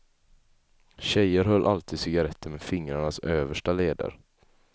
Tjejer höll alltid cigaretter med fingrarnas översta leder.